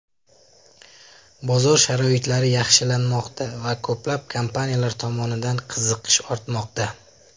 Bozor sharoitlari yaxshilanmoqda, va ko‘plab kompaniyalar tomonidan qiziqish ortmoqda.